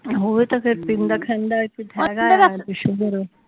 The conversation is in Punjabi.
ਉਹ ਵੀ ਤਾ ਫੇਰ ਪੀਂਦਾ ਖਾਂਦਾ